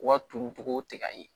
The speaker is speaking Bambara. U ka turuntogo tigɛ ka ɲɛ